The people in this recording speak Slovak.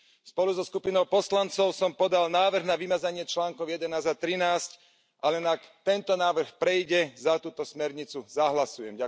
Spolu so skupinou poslancov som podal návrh na vymazanie článkov 11 a 13, ale ak tento návrh prejde, za túto smernicu zahlasujem.